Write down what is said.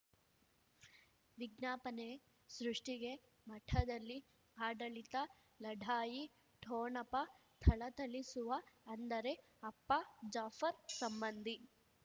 ವಿಜ್ಞಾಪನೆ ಸೃಷ್ಟಿಗೆ ಮಠದಲ್ಲಿ ಆಡಳಿತ ಲಢಾಯಿ ಠೊಣಪ ಥಳಥಳಿಸುವ ಅಂದರೆ ಅಪ್ಪ ಜಾಫರ್ ಸಂಬಂಧಿ